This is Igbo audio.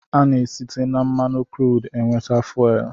Ana-site na mmanụ kruud nweta fuwel.